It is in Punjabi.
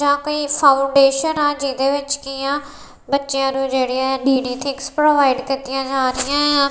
ਤਾਂ ਕੋਈ ਫਾਊਂਡੇਸ਼ਨ ਆ ਜਿਹਦੇ ਵਿੱਚ ਕੀ ਆ ਬੱਚਿਆਂ ਨੂੰ ਜਿਹੜੇ ਡੀ_ਡੀ ਥਿਕਸ ਪ੍ਰੋਵਾਈਡ ਕੀਤੀਆਂ ਜਾ ਰਹੀਆਂ ਏ ਆ।